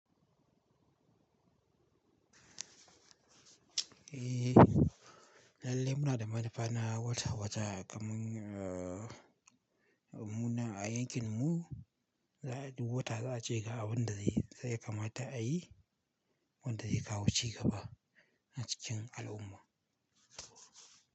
Eh, lalle muna da manufa na wata-wata kamun, ah, mu nan a yankin mu, za mu yi duk wata za a ce ga abun da zaiyi ya kamata a yi, wanda zai kawo cigaba a cikin al'umma.